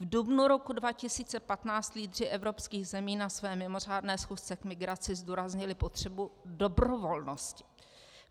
V dubnu roku 2015 lídři evropských zemí na své mimořádné schůzce k migraci zdůraznili potřebu dobrovolnosti.